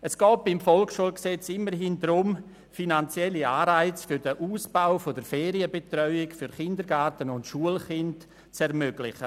Es geht beim VSG immerhin darum, finanzielle Anreize für den Ausbau der Ferienbetreuung für Kindergarten- und Schulkinder zu ermöglichen.